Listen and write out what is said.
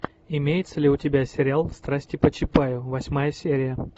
имеется ли у тебя сериал страсти по чапаю восьмая серия